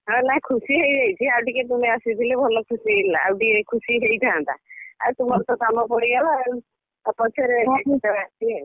ହଁ ନାଇଁଖୁସି ହେଇଯାଇଛି ଆଉ ଟିକେ ତୁମେ ଆସିଥିଲେ ଭଲ ଖୁସି ହେଲେ ଆଉ ଟିକେଖୁସି ହେଇଥାନ୍ତା। ଆଉ ତୁମର ତ କାମ ପଡ଼ିଗଲା ଆଉ ଆଉ ପଛରେ କେତେବେଳେ ଆସିବେ ଆଉ?